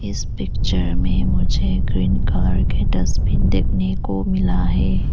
इस पिक्चर में मुझे एक ग्रीन कलर का डस्टबिन देखने को मिला है।